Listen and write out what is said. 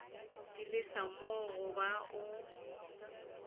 di lesa mo goba o